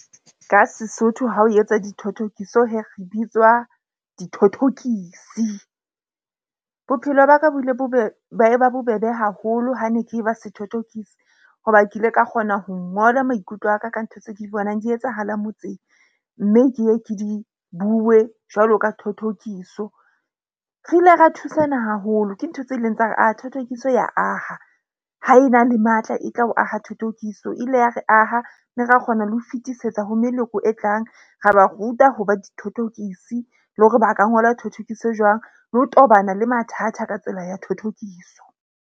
Ka Sesotho ha o etsa dithothokiso re bitswa dithothokisi. Bophelo baka bo bile ba e ba bobebe haholo ha ne ke ba sethothokisi, hoba ke ile ka kgona ho ngola maikutlo aka ka ntho tse ke di bonang di etsahala motseng. Mme ke ye ke di bue jwalo ka thothokiso. Re ile ra thusana haholo ke ntho tse leng tsa thothokiso ya aha ha e na le matla, e tla o aha thothokiso. E ile ya re aha mme ra kgona le ho fetisetsa ho meloko e tlang, ra ba ruta ho ba dithothokisi le hore ba ka ngola thothokiso jwang le ho tobana le mathata ka tsela ya thothokiso.